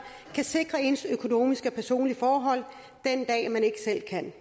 kan sikre ens økonomiske og personlige forhold den dag man ikke selv kan